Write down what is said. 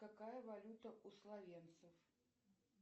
какая валюта у словенцев